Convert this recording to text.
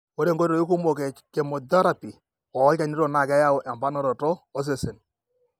ore inkoitoi kumok e chemothereapy olchanito na keyau emponaroto osesen